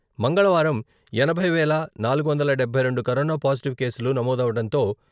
మంగళవారం ఎనభై వేల నాలుగు వందల డబ్బై రెండు కరోనా పాజిటివ్ కేసులు నమోదవడంతో...